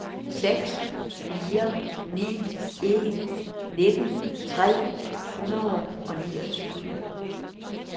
seks fire ni en nitten tre hundrede og niogtyve